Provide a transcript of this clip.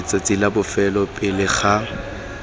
letsatsing la bofelo pele ga